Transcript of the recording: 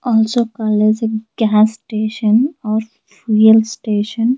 also colours in gas station or fuel station.